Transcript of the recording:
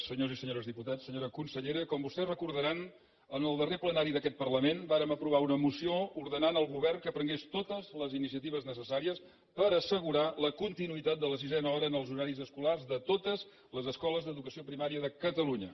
senyors i senyores diputats senyora consellera com vostès recordaran en el darrer plenari d’aquest parlament vàrem aprovar una moció ordenant al govern que prengués totes les iniciatives necessàries per assegurar la continuïtat de la sisena hora en els horaris escolars de totes les escoles d’educació primària de catalunya